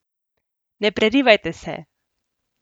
Ne prerivajte se!